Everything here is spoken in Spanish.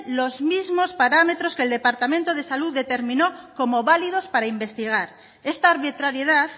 los mismos parámetros que el departamento de salud determinó como válidos para investigar esta arbitrariedad